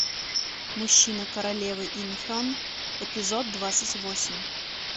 мужчина королевы ин хен эпизод двадцать восемь